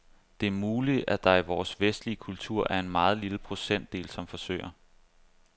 Det er muligt, at der i vores vestlige kultur er en meget lille procentdel, som forsøger.